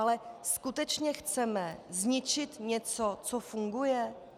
Ale skutečně chceme zničit něco, co funguje?